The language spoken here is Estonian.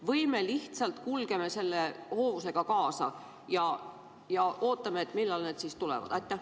Või me lihtsalt kulgeme selle hoovusega kaasa ja ootame, millal need tulevad?